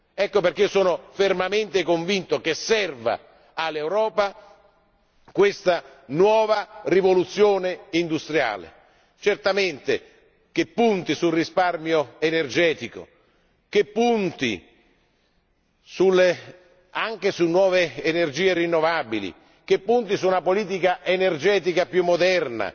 Ecco perché io sono fermamente convinto che serva all'Europa questa nuova rivoluzione industriale, che punti sul risparmio energetico, che punti anche su nuove energie rinnovabili, che punti su una politica energetica più moderna,